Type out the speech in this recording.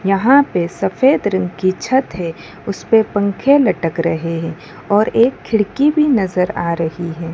यहां पर सफेद रंग की छत है उसपे पंखे लटक रहे हैं और एक खिड़की भी नजर आ रही है।